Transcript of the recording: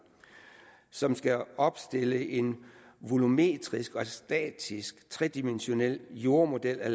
som skal opstille en volumetrisk og statisk tredimensional jordmodel af